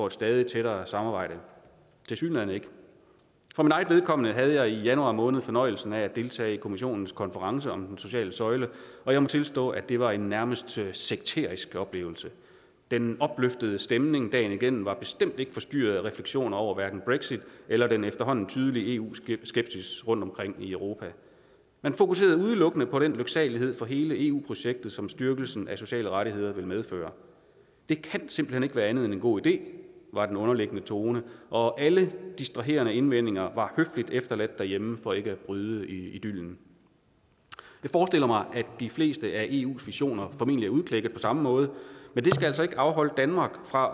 et stadig tættere samarbejde tilsyneladende ikke for mit eget vedkommende havde jeg i januar måned fornøjelsen af at deltage i kommissionens konference om den sociale søjle og jeg må tilstå at det var en nærmest en sekterisk oplevelse den opløftede stemning dagen igennem var bestemt ikke forstyrret af refleksioner over hverken brexit eller den efterhånden tydelige eu skepsis rundtomkring i europa man fokuserede udelukkende på den lyksalighed for hele eu projektet som styrkelsen af sociale rettigheder vil medføre det kan simpelt hen ikke være andet end en god idé var den underliggende tone og alle distraherende indvendinger var høfligt efterladt derhjemme for ikke at bryde idyllen jeg forestiller mig at de fleste af eus visioner formentlig er udklækket på samme måde men det skal altså ikke afholde danmark fra